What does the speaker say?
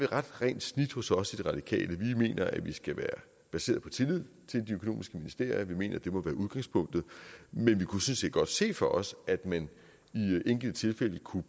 ret rent snit hos os i radikale venstre vi mener at vi skal være baseret på tillid til de økonomiske ministerier vi mener at det må være udgangspunktet men vi kunne sådan set godt se for os at man i enkelte tilfælde kunne